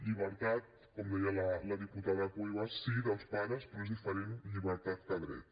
llibertat com deia la diputada cuevas sí dels pares però és diferent llibertat que dret